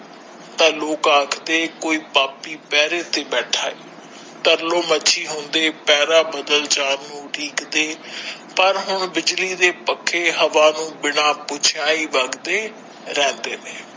ਤਾ ਲੋਕ ਆਖਦੇ ਕੋਈ ਪਾਪੀ ਪਹਿਰੈ ਤੇ ਬੈਠਾ ਹੈ ਤਰਲੋ ਮਰਜੀ ਹੁੰਦੇ ਪਹਿਰਾ ਬੱਦਲ ਜਾਣ ਨੂੰ ਉਡੀਕ ਦੇ ਪਰ ਹੁਣ ਬਿਜਲੀ ਦੇ ਪੱਖੇ ਹਵਾ ਨੂੰ ਬਿਨਾ ਬੁਝਿਆ ਹੀ ਵੱਗਦੇ ਰਹਿੰਦੇ ਨੇ।